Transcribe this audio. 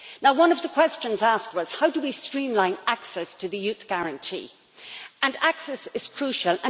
One of the questions asked was how we streamline access to the Youth Guarantee, and access is crucial.